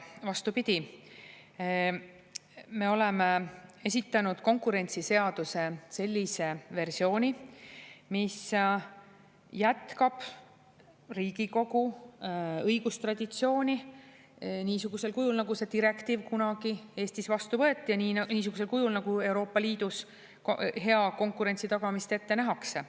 Vastupidi, me oleme esitanud konkurentsiseaduse sellise versiooni, mis jätkab Riigikogu õigustraditsiooni niisugusel kujul, nagu see direktiiv kunagi Eestis vastu võeti, niisugusel kujul nagu Euroopa Liidus hea konkurentsi tagamist ette nähakse.